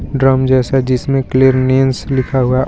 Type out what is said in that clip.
drum जैसा जिसमें clearance लिखा हुआ--